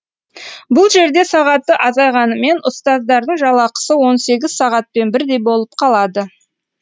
бұл жерде сағаты азайғанымен ұстаздардың жалақысы он сегіз сағатпен бірдей болып қалады